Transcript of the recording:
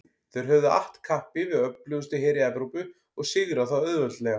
Þeir höfðu att kappi við öflugustu heri Evrópu og sigrað þá auðveldlega.